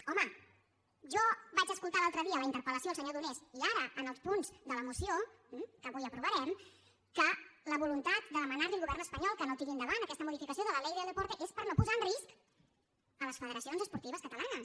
home jo vaig es·coltar l’altre dia la interpel·lació del senyor donés i ara en els punts de la moció que avui aprovarem que la voluntat de demanar·li al govern espanyol que no tiri endavant aquesta modificació de la ley del depor·te és per no posar en risc les federacions esportives ca·talanes